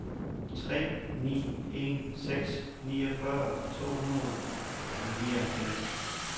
tre ni en seks niogfyrre to hundrede og nioghalvfjerds